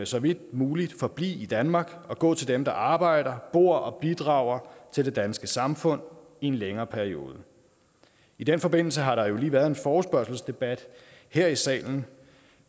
så vidt muligt forblive i danmark og gå til dem der arbejder og bor og bidrager til det danske samfund i en længere periode i den forbindelse har der jo lige været en forespørgselsdebat her i salen